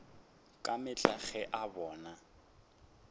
ka mehla ge a bona